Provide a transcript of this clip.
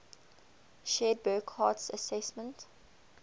shared burckhardt's assessment